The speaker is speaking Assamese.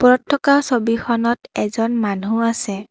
ওপৰত থকা ছবিখনত এজন মানুহ আছে।